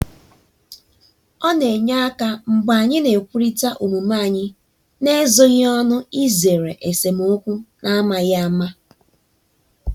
ọ na-enye aka mgbe anyị na-ekwurịta omume anyị n'ezoghị ọnụ izere esemokwu n'amaghị ama.